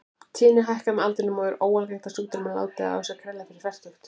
Tíðnin hækkar með aldrinum og er óalgengt að sjúkdómurinn láti á sér kræla fyrir fertugt.